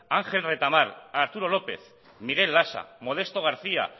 ángel retamar arturo lópez miguel lasa modesto garcía